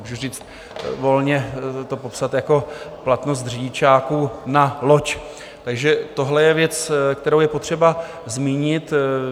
Můžu říct, volně to popsat jako platnost řidičáků na loď, takže tohle je věc, kterou je potřeba zmínit.